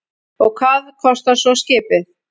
Og hvað kostar svo skipið?